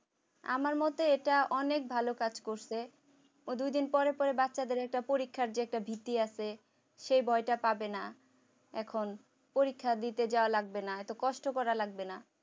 আমার মতে এটা অনেক ভালো কাজ করছে দুদিন পরে পরে বাচ্চাদের একটা পরীক্ষার যে একটা ভীতি আছে সে ভয়টা পাবে না এখন পরীক্ষা দিতে যাওয়া লাগবে না এত কষ্ট করা লাগবে না